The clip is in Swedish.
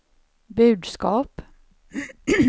budskap